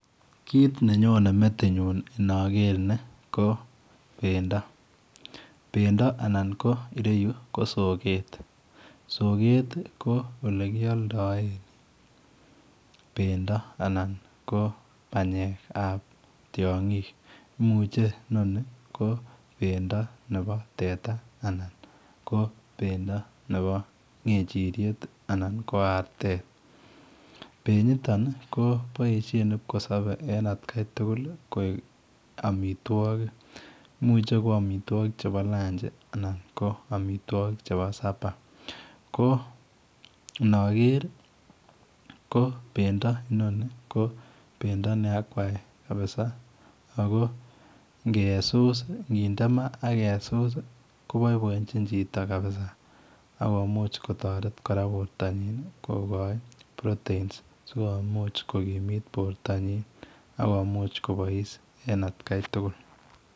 Kit ne nyonei metinyuun inaker ni ko bendo bendo anan kireyuu ko sokeet , sokeet ko ole kiyaldaen bendo anan ko panyeek ab tiangiik imuche ko bendo nebo teta anan ko bendo nebo ngechiriet anan ko artet benyii I toon kobaishen kipkosabei koek amitwagik imuche koek amitwagik che o lunchii anan ko amitwagik che bo [super] ko anger ii ko bendo in ko bendo ne akwai kabisa ako ngesuskinde ma asked us kobaibaenjiin chitoo kabisa akomuuch kotareten borto nyiin kabisa [proteins] sikomuuch komi it borto nyiin akomuuch kobois en at Kai tugul.